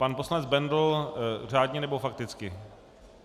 Pan poslanec Bendl řádně, nebo fakticky?